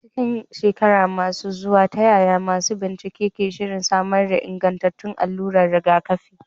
A cikin shekaru masu zuwa, ta yaya masu bincike ke shirin samar da ingantattun alluran rigakafi?